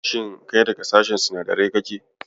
Shin kai daga sashen sinadarai kake?